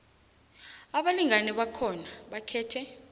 abalingani bakhona bakhethe